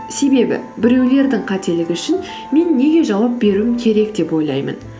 себебі біреулердің қателігі үшін мен неге жауап беруім керек деп ойлаймын